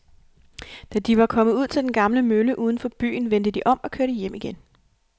Da de var kommet ud til den gamle mølle uden for byen, vendte de om og kørte hjem igen.